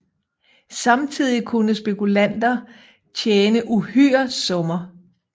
Samtidig kunne spekulanter tjene uhyre summer